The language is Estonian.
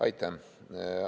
Aitäh!